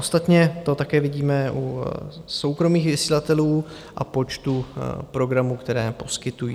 Ostatně to také vidíme u soukromých vysílatelů a počtu programů, které poskytují.